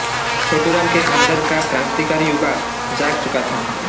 छोटूराम के अंदर का क्रान्तिकारी युवा जाग चुका था